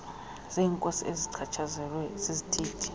zeenkosi ezichatshazelwa zizithethe